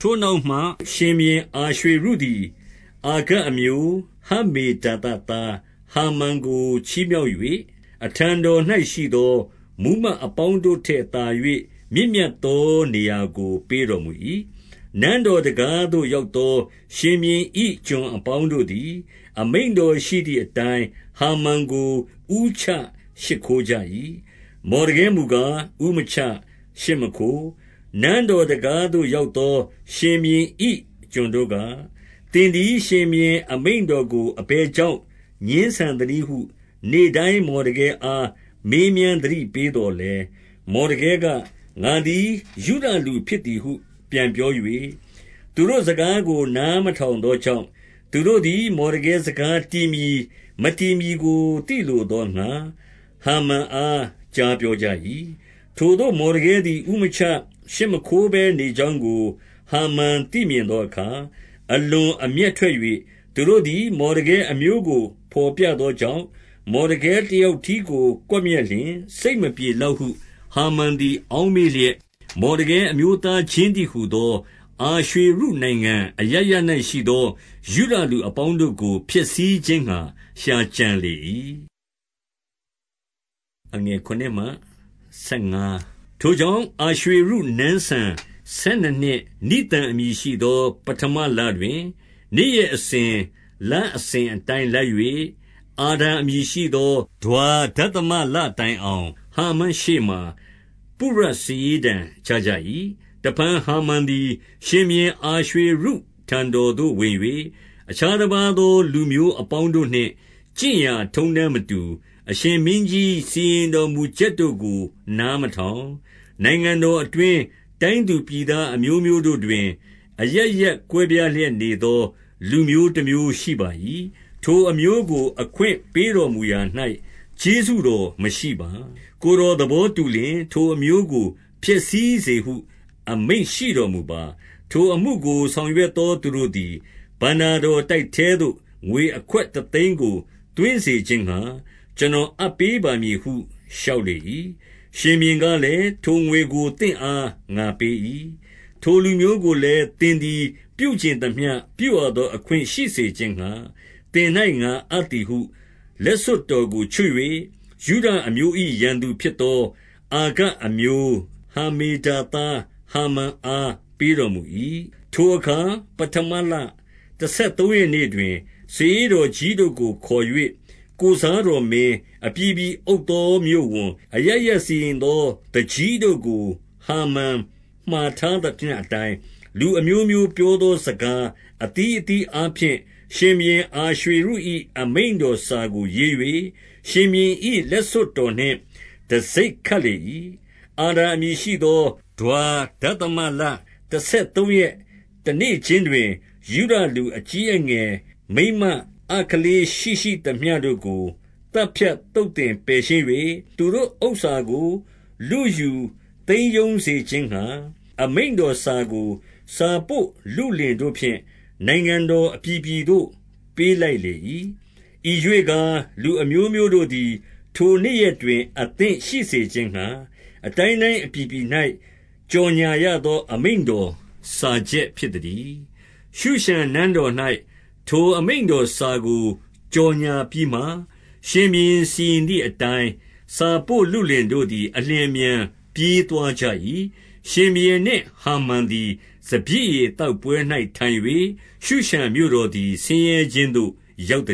ထိုနောက်မှ ရှင်ဘုရင်သည် အာရွှေရုသည် အာဂတ်အမျိုး၊ ဟမ္မေဒါသသားဟာမန်ကို ချီးမြှောက်၍၊ အထံတော်၌ရှိသော မှူးမတ်အပေါင်းတို့ထက် သာ၍ မြင့်မြတ်သော နေရာကို ပေးတော်မူ၏။ 2 နန်းတော်တံခါးသို့ရောက်သော ရှင်ဘုရင်၏ ကျွန်အပေါင်းတို့သည်၊ အမိန့်တော်ရှိသည်အတိုင်း ဟာမန် ကို ဦးချရှိခိုးကြ၏။ မော်ဒကဲမူကား ဦးမချ၊ ရှိမခိုး။ 3 နန်းတော်တံခါးသို့ ရောက်သော ရှင်ဘုရင်၏ ကျွန်တို့က၊ သင်သည် ရှင်ဘုရင်အမိန့်တော်ကို အဘယ် ကြောင့် ငြင်းဆန်သနည်းဟု နေ့တိုင်း မော်ဒကဲအား မေးမြန်းသတိပေးသော်လည်း၊ 4 မော်ဒကဲက၊ ငါသည် ယုဒလူဖြစ်သည်ဟု ပြန် ပြော၍၊ သူတို့ စကားကို နားမထောင်သောကြောင့်၊ သူတို့ သည် မော်ဒကဲစကား တည်မည် မတည်မည်ကို သိလို သောငှါ၊ ဟာမန်အား ကြားပြောကြ၏။ 5 ထိုသို့ မော်ဒကဲသည် ဦးမချ၊ ရှိမခိုးဘဲ နေ ကြောင်းကို ဟာမန် သိမြင်သောအခါ၊ အလွန်အမျက် ထွက်၍၊ 6 သူတို့သည် မော်ဒကဲအမျိုးကို ဘော်ပြသော ကြောင့်၊ မော်ဒကဲတယောက်တည်းကို ကွပ်မျက်လျှင်၊ စိတ်မပြေလောက်ဟု ဟာမန်သည် အောက်မေ့လျက်၊ မော်ဒကဲအမျိုးသားချင်းတည်းဟူသော အာရွှေရုနိုင်ငံ အရပ်ရပ်၌ရှိသော ယုဒလူအပေါင်းတို့ကို ဖျက်ဆီးခြင်းငှါ ရှာကြံလေ၏။ 7 ထိုကြောင့် အာရွှေရုနန်းစံဆယ်နှစ်နှစ်၊ နိသန် အမည်ရှိသော ပဌမလတွင်၊ နေ့ရက်အစဉ်၊ လအစဉ် အတိုင်းလိုက်၍၊ အာဒါအမည် ရှိသော ဒွါဒသမလ တိုင်အောင်၊ ဟာမန်ရှေ့မှာ ပုရစာရေးတံချကြ၏။ 8 တဖန်ဟာမန်သည် ရှင်ဘုရင် အာရွှေရုထံတော် သို့ဝင်၍၊ အခြားတပါးသော လူမျိုးအပေါင်းတို့နှင့် ကျင့်ရာ ထုံးတမ်းမတူ၊ အရှင်မင်းကြီး စီရင်တော်မူချက်တို့ကို နားမထောင်၊ နိုင်ငံတော်အတွင်း၊ တိုင်းသူပြည်သား အမျိုးမျိုးတို့တွင် အရပ်ရပ်ကွဲပြားလျက်နေသော လူမျိုး တမျိုးရှိပါ၏။ ထိုအမျိုးကို အခွင့်ပေးတော်မူရာ၌ ကျေးဇူး တော်မရှိပါ။ 9 ကိုယ်တော် သဘောတူလျှင် ထိုအမျိုးကို ဖျက်ဆီးစေဟု အမိန့်ရှိတော်မူပါ။ ထိုအမှုကို ဆောင်ရွက် သော သူတို့သည် ဘဏ္ဍာတော်တိုက်ထဲသို့ ငွေအခွက် တသိန်းကို သွင်းစေခြင်းငှါ၊ ကျွန်တော်အပ်ပေးပါ မည်ဟု လျှောက်လေ၏။ 10 ရှင်ဘုရင်ကလည်း၊ ထိုငွေကို သင့်အားငါပေး၏။ 11 ထိုလူမျိုးကိုလည်း သင်သည် ပြုချင်သမျှ ပြုရသော အခွင့်ရှိစေခြင်းငှါ၊ သင်၌ငါအပ်သည်ဟု လက်စွပ်တော်ကိုချွတ်၍ ယုဒအမျိုး၏ ရန်သူဖြစ်သော အာဂတ်အမျိုး ဟမ္မေဒါသသား ဟာမန်အားပေးတော်မူ ၏။ 12 ထိုအခါ ပဌမလတဆယ်သုံးရက်နေ့တွင်၊ စာရေးတော်ကြီးတို့ကို ခေါ်၍ ကိုယ်စားတော်မင်း၊ အပြည်ပြည်အုပ်သော မြို့ဝန်၊ အရပ်ရပ်စီရင်သော သူကြီးတို့ကို ဟာမန်မှာထားသမျှအတိုင်း၊ လူအမျိုးမျိုး ပြောသော စကားအသီးအသီးအားဖြင့် ရှင်ဘုရင် အာရွှေရု၏ အမိန့်တော်ကို စာရေး၍၊ ရှင်ဘုရင်၏ လက်စွပ်တော်နှင့် တံဆိပ်ခတ်လေ၏။ 13 အာဒါအမည်ရှိသော ဒွါဒသမလတဆယ် သုံးရက် တနေ့ခြင်းတွင်၊ ယုဒလူအကြီးအငယ်မိန်းမ ကလေးရှိရှိသမျှတို့ကို သတ်ဖြတ်သုတ်သင်ပယ်ရှင်း၍၊ သူတို့ဥစ္စာကို လုယူသိမ်းရုံးစေခြင်းငှါ၊ အမိန့်တော် စာကို စာပို့လုလင်တို့ဖြင့် နိုင်ငံတော်အပြည်ပြည်သို့ ပေးလိုက် လေ၏။ 14 ဤရွေ့ကား၊ လူအမျိုးမျိုးတို့သည် ထိုနေ့ရက်တွင် အသင့်ရှိစေခြင်းငှါ၊ အတိုင်းတိုင်းအပြည်ပြည်၌ ကြော်ငြာရ သော အမိန့်တော် စာချက်ဖြစ်သတည်း။ 15 ရှုရှန်နန်းတော်၌ ထိုအမိန့်တော်စာကို ကြော်ငြာ ပြီးမှ၊ ရှင်ဘုရင် စီရင်သည်အတိုင်း၊ စာပို့လုလင်တို့သည် အလျင်အမြန် ပြေးသွားကြ၏။ ရှင်ဘုရင်နှင့် ဟာမန် သည် စပျစ်ရည် သောက်ပွဲ၌ထိုင်၍၊ ရှုရှန်မြို့တော်သည် ဆင်းရဲခြင်းသို့ ရောက်